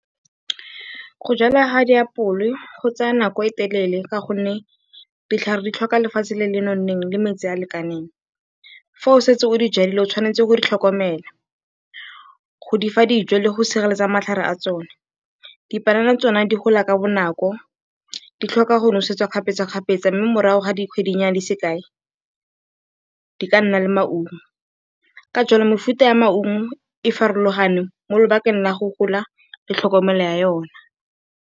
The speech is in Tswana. Go jwalwa ga diapole go tsaya nako e e telele ka gonne ditlhare di tlhoka lefatshe le le nonneng le metsi a a lekaneng. Fa o setse o di jwetse o tshwanetse go di tlhokomela, go di fa dijo le go sireletsa matlhare a tsone. Dipanana tsone di gola ka bonako, di tlhoka go nosetswa kgapetsakgapetsa mme morago ga dikgwedinyana di se kae, di ka nna le maungo. Ka jalo mefuta ya maungo e farologane mo lobakeng la go gola le tlhokomelo ya yona.